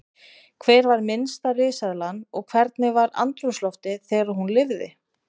Hver var minnsta risaeðlan og hvernig var andrúmsloftið þegar hún lifði?